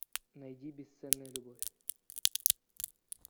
найди бесценная любовь